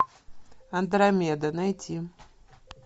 андромеда найти